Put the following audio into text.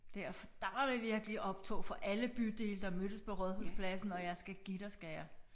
Der der var det virkelig optog for alle bydele der mødtes på Rådhuspladsen og jeg skal give dig skal jeg